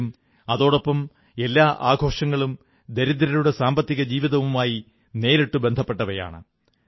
എങ്കിലും അതോടൊപ്പം എല്ലാ ആഘോഷങ്ങളും ദരിദ്രരുടെ സാമ്പത്തിക ജീവിതവുമായി നേരിട്ടു ബന്ധപ്പെട്ടവയാണ്